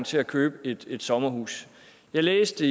til at købe et et sommerhus jeg læste